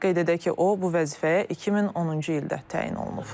Qeyd edək ki, o bu vəzifəyə 2010-cu ildə təyin olunub.